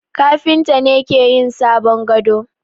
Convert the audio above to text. Kafinta ne ke yin sabon gado.